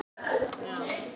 Líneik, er opið í Blómaborg?